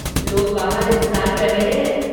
लोग बाहर इंतजार कर रहे हैं।